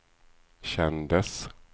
kändes